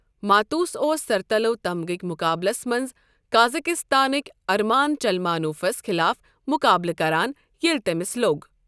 ماتوس اوس سَرتَلو تمغٕکۍ مُقابلَس منٛز قازقستانٕکۍ ارمان چلمانوفَس خِلاف مُقابلہٕ کران ییٚلہِ تٔمِس لوٚگ۔